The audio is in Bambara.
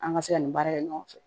An ka se ka nin baara kɛ ɲɔgɔn fɛ